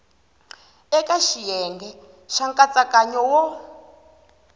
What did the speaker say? eka xiyenge xa nkatsakanyo wo